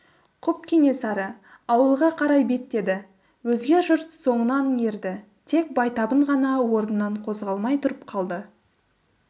құп кенесары ауылға қарай беттеді өзге жұрт соңынан ерді тек байтабын ғана орнынан қозғалмай тұрып қалды